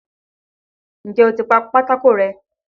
N jẹ́ o ti pa pátákó rẹ́?